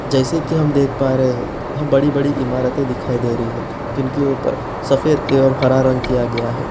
जैसी की हम देख पा रहे हैं यहाँ बड़ी-बड़ी इमारतें दिखाई दे रही है जिनके ऊपर सफेद एवं हरा रंग किया गया है।